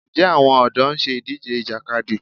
Ǹjẹ́ àwọn ọ̀dọ́ ń ṣe ìdíje Ìjàkadì?